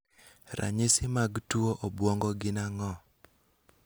Ranyisi mag tuo obwongo gin ang'o?